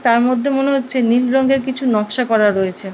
তার মধ্যে মুনে হচ্ছে নীল রং এর নকশা করা রয়েছে।